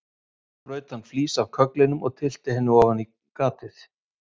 Svo braut hann flís af kögglinum og tyllti henni ofan á gatið.